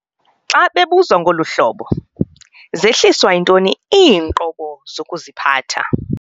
Xa babebuzwa ngolu hlobo- 'Zehliswa yintoni iinqobo zokuziphatha?'